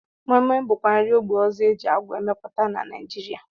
Moi Moi bụkwa nri ógbè ọzọ e ji agwa emepụta na Naijiria